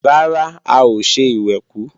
Rárá, a ò ṣe ìwẹ̀kú